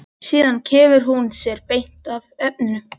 Síðan kemur hún sér beint að efninu.